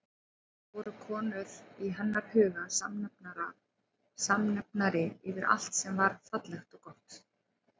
Voru konur í hennar huga samnefnari yfir allt sem var fallegt og gott?